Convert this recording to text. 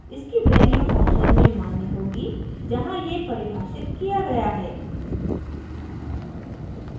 इसकी value function में मान्य होगी जहाँ ये परिभाषित किया गया है